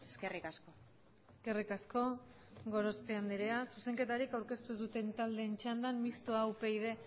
eskerrik asko eskerrik asko gorospe andereak zuzenketarik aurkeztu duten taldeen txandan mistoa upyd